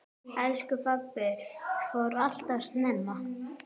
Elsku pabbi fór alltof snemma.